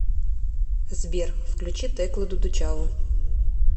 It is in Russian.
сбер включи теклу дудучаву